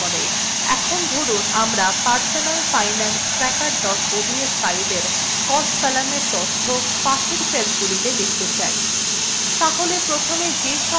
in ধরুন আমরা personalfinancetracker ods filein cost কলামের তথ্য পাশের সেলগুলিতে লিখতে চাই